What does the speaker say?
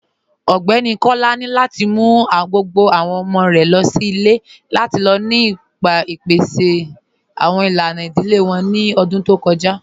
Ọgbẹni Kọ́lá ni lati mú gbogbo awọn ọmọ̀ rẹ̀ lọ sí ilẹ̀ lati lọ nípasẹ̀ awọn ilànà idílé wọn ní ọ̀dún tó kọja